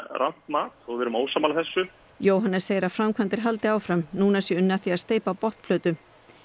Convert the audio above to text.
rangt mat og við erum ósammála þessu Jóhannes segir að framkvæmdir haldi áfram núna sé unnið að því að steypa botnplötu